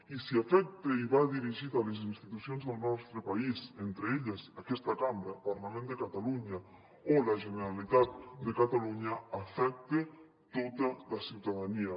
i si afecta i va dirigit a les institucions del nostre país entre elles aquesta cambra el parlament de catalunya o la generalitat de catalunya afecta tota la ciutadania